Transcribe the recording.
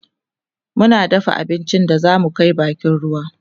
muna dafa abincin da zamu Kai bakin ruwa